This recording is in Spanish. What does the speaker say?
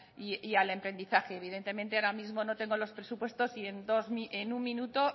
y al emprendizaje evidentemente ahora mismo no tengo los presupuestos y en un minuto